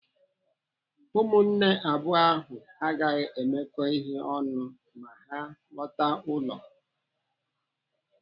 Ụmụnne abụọ ahụ agaghị emekọ ihe ọnụ ma ha lọtaa ụlọ.